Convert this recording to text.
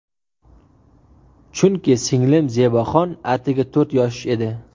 Chunki singlim Zeboxon atigi to‘rt yosh edi.